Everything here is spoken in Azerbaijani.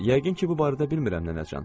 Yəqin ki, bu barədə bilmirəm nənəcan.